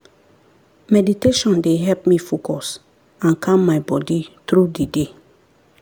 meditation dey help me focus and calm my body through the day.